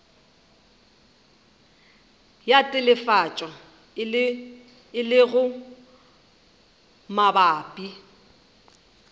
ya telefatšo e lego mabapi